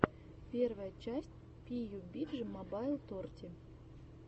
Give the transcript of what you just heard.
первая часть пиюбиджи мобайл торти